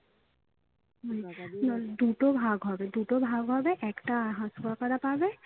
মানে দুটো ভাগ হবে, দুটো ভাগ হবে একটা half কাকারা পাবে